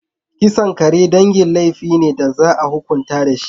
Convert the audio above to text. Kisan kare dangi laifi ne da za a hukunta shi.